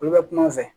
Olu bɛ kuma o fɛ